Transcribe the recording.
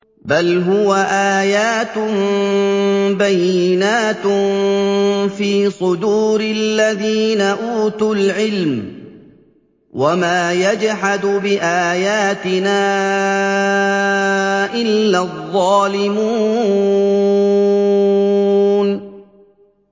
بَلْ هُوَ آيَاتٌ بَيِّنَاتٌ فِي صُدُورِ الَّذِينَ أُوتُوا الْعِلْمَ ۚ وَمَا يَجْحَدُ بِآيَاتِنَا إِلَّا الظَّالِمُونَ